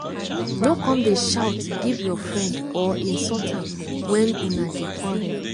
no come dey shout give your friend or insult am wen una dey quarrel.